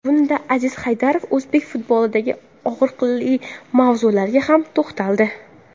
Bunda Aziz Haydarov o‘zbek futbolidagi og‘riqli mavzularga ham to‘xtaldi.